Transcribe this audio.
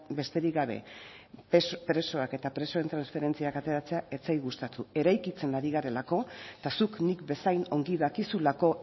besterik gabe presoak eta presoen transferentziak ateratzea ez zait gustatu eraikitzen ari garelako eta zuk nik bezain ongi dakizulako